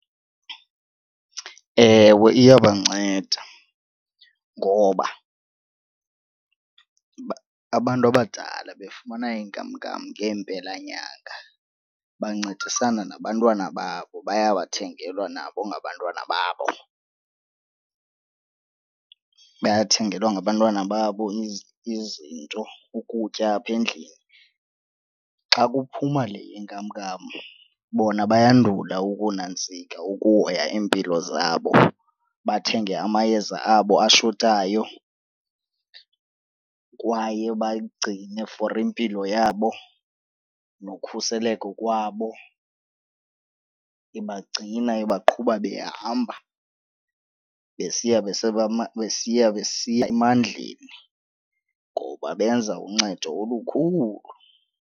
Ewe, iyabanceda ngoba abantu abadala befumana inkamnkam ngeempelanyanga bancedisana nabantwana babo, bayawathengelwa nabo ngabantwana babo. Bayathengelwa ngabantwana babo izinto ukutya apha endlini. Xa kuphuma le yenkamnkam bona bayandula ukunantsika ukuhoya iimpilo zabo bathenge amayeza abo ashotayo kwaye bayigcine for impilo yabo nokhuseleko kwabo. Ibagcina ibaqhuba behamba besiya besiya besiya emandleni ngoba benza uncedo olukhulu.